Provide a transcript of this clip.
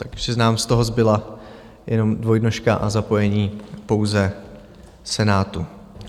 Takže nám z toho zbyla jenom dvojnožka a zapojení pouze Senátu.